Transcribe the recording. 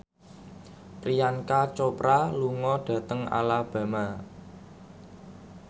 Priyanka Chopra lunga dhateng Alabama